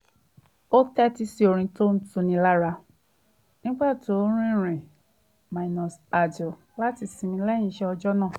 ó tẹ́tí sí orin tó ń tuni lára nígbà tó ń rìnrìn-àjò láti sinmi lẹ́yìn iṣẹ́ ọjọ́ náà